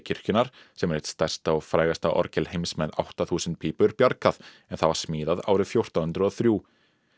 kirkjunnar sem er eitt stærsta og frægasta orgel heims með um átta þúsund pípur bjargað en það var smíðað árið fjórtán hundruð og þrjú